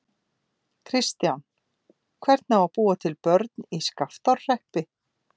Kristján: Hvernig á að búa til börn í Skaftárhreppi?